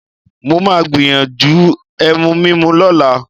Mo máa gbìyànjú ẹ̀mù mímú lọ́la